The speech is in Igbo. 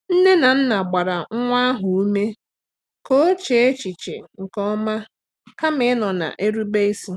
Nne na nna gbara nwa ahụ ume ka o chee echiche nke ọma kama ịnọ na-erube isi.